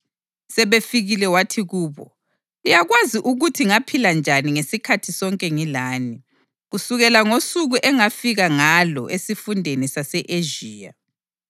Sebefikile wathi kubo, “Liyakwazi ukuthi ngaphila njani ngesikhathi sonke ngilani, kusukela ngosuku engafika ngalo esifundeni sase-Ezhiya.